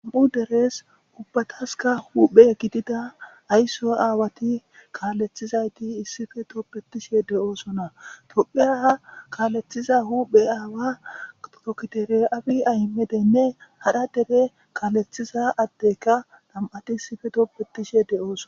Am'u derees ubbataska huphe gidida aysso aawati kaalethizayti issife topbetishe de'oosona topheaha kaalethiza huphe aawa tokitere abi aymedenne hadha dere kaalethiza addeka nam'ati issife toppetishe de'ooson.